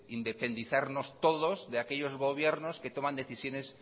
independizarnos todos de aquellos gobiernos que toman decisiones